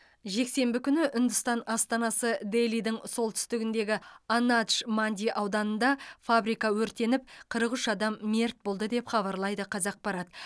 жексенбі күні үндістан астанасы делидің солтүстігіндегі анадж манди ауданында фабрика өртеніп қырық үш адам мерт болды деп хабарлайды қазақпарат